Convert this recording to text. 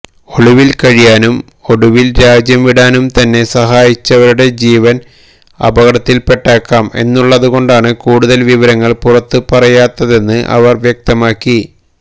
ഒളിവിൽ കഴിയാനും ഒടുവിൽ രാജ്യംവിടാനും തന്നെ സഹായിച്ചവരുടെ ജീവൻ അപകടത്തിൽപെട്ടേക്കാം എന്നുള്ളതുകൊണ്ടാണ് കൂടുതൽ വിവരങ്ങൾ പുറത്തു പറയാത്തതെന്ന് അവർ വ്യക്തമാക്കി